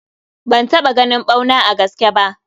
Ban taɓa ganin ɓauna a gaske bah.